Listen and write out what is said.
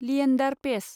Leander Paes